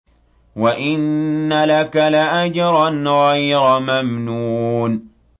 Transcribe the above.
وَإِنَّ لَكَ لَأَجْرًا غَيْرَ مَمْنُونٍ